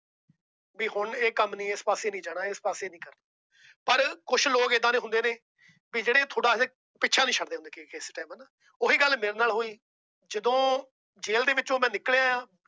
ਵੀ ਹੁਣ ਇਹ ਕੰਮ ਨਹੀਂ ਇਸ ਪਾਸੇ ਨਹੀਂ ਜਾਣਾ । ਪਰ ਕੁਝ ਲੋਕ ਏਦਾਂ ਦੇ ਹੁੰਦੇ ਨੇ ਕੀ ਜਿਹੜਾ ਤੁਹਾਡਾ ਪਿੱਛਾ ਨਹੀਂ ਛੱਡਦੇ। ਉਹੀ ਗੱਲ ਮੇਰੇ ਨਾਲ ਹੋਈ। ਜਦੋ ਜੇਲ ਦੇ ਵਿੱਚੋ ਮੈ ਨਿਕਲ ਆਇਆ।